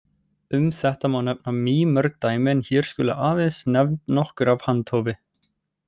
Um þetta má nefna mýmörg dæmi en hér skulu aðeins nefnd nokkur af handahófi.